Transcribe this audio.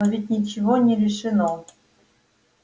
но ведь ничего не решено